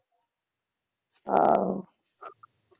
ਆਹੋ